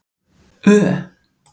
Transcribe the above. Ö